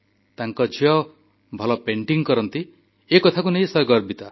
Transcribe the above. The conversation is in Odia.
ତାଙ୍କ ଝିଅ ଭଲ ପେଣ୍ଟିଙ୍ଗ୍ କରନ୍ତି ଏ କଥାକୁ ନେଇ ସେ ଗର୍ବିତ